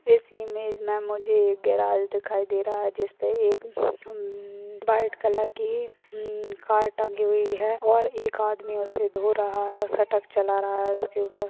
इस इमेज में हमें गेराज दिखाई दे रहा है जिसपे एक म्म- व्हाइट कलर कि म्म- कार टंगी हुई है और एक आदमी उसे धो रहा है और स्टक चला रहा है उसके ऊपर ।